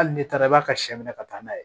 Hali n'e taara i b'a ka sɛ minɛ ka taa n'a ye